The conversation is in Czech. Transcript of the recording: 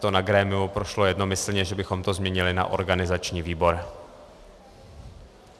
To na grémiu prošlo jednomyslně, že bychom to změnili na organizační výbor.